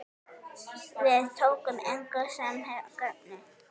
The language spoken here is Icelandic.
Við tókum engu sem gefnu.